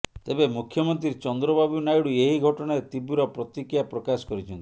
ତେବେ ମୁଖ୍ୟମନ୍ତ୍ରୀ ଚନ୍ଦ୍ରବାବୁ ନାଇଡ଼ୁ ଏହି ଘଟଣାରେ ତୀବ୍ର ପ୍ରତିକ୍ରିୟା ପ୍ରକାଶ କରିଛନ୍ତି